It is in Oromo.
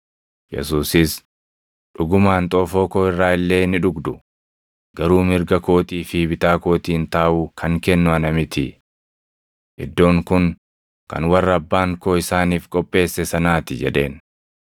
Yesuusis, “Dhugumaan xoofoo koo irraa illee ni dhugdu; garuu mirga kootii fi bitaa kootiin taaʼuu kan kennu ana miti. Iddoon kun kan warra Abbaan koo isaaniif qopheesse sanaa ti” jedheen.